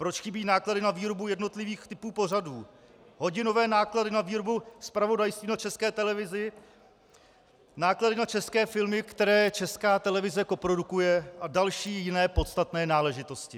Proč chybí náklady na výrobu jednotlivých typů pořadů, hodinové náklady na výrobu zpravodajství na České televizi, náklady na české filmy, které Česká televize koprodukuje, a další jiné podstatné náležitosti.